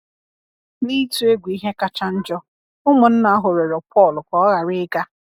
Na-itụ egwu ihe kacha njọ, ụmụnna ahụ rịọrọ Pọl ka ọ ghara ịga.